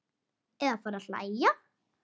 Eða fara að hlæja.